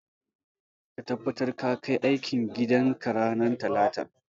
Ka tabbatar ka kai aikin gidan ka ranar talata.